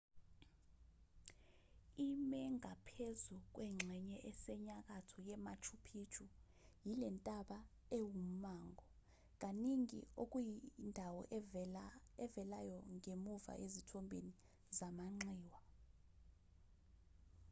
ime ngaphezu kwengxenye esenyakatho yemachu picchu yilentaba ewummango kaningi okuyindawo evelayo ngemuva ezithombeni zamanxiwa